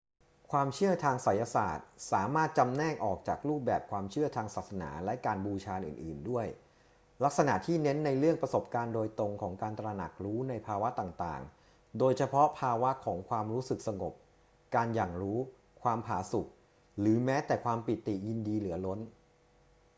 ความเชื่อทางไสยศาสตร์สามารถจำแนกออกจากรูปแบบความเชื่อทางศาสนาและการบูชาอื่น ๆ ด้วยลักษณะที่เน้นในเรื่องประสบการณ์ตรงของการตระหนักรู้ในภาวะต่าง ๆ โดยเฉพาะภาวะของความรู้สึกสงบ การหยั่งรู้ ความผาสุก หรือแม้แต่ความปิติยินดีเหลือล้น